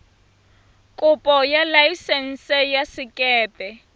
kopo ya laesense ya sekepe